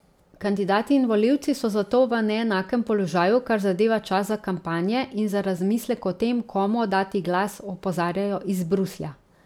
Kandidati in volivci so zato v neenakem položaju, kar zadeva čas za kampanje in za razmislek o tem, komu oddati glas, opozarjajo iz Bruslja.